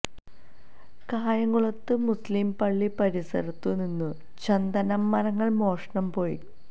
കായംകുളത്ത് മുസ്ലിം പള്ളി പരിസരത്തു നിന്നും ചന്ദന മരങ്ങള് മോഷണം പോയി